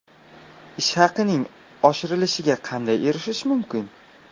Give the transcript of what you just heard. Ish haqining oshirilishiga qanday erishish mumkin?.